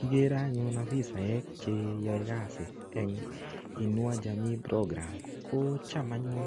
Kigere anyun ofisaek che yoe kasi eng Inua Jamii Programme. Ko cham anyun